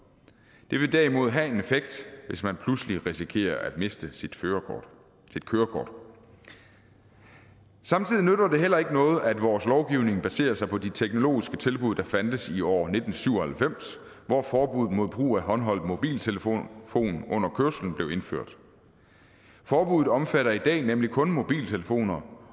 det vil derimod have en effekt hvis man pludselig risikerer at miste sit kørekort samtidig nytter det heller ikke noget at vores lovgivning baserer sig på de teknologiske tilbud der fandtes i år nitten syv og halvfems hvor forbuddet mod brug af håndholdt mobiltelefon under kørslen blev indført forbuddet omfatter i dag nemlig kun mobiltelefoner